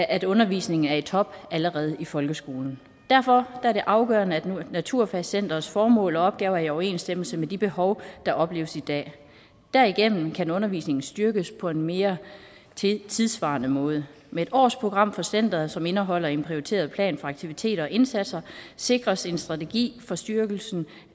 at undervisningen er i top allerede i folkeskolen derfor er det afgørende at naturfagscenterets formål og opgaver er i overensstemmelse med de behov der opleves i dag derigennem kan undervisningen styrkes på en mere tidssvarende måde med et årsprogram for centeret som indeholder en prioriteret plan for aktiviteter og indsatser sikres en strategi for styrkelsen